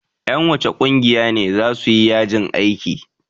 Ƴan wacce ƙungiya ne za su yi yajin aiki?